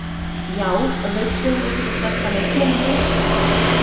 Já, veistu um einhverja sterka leikmenn á lausu?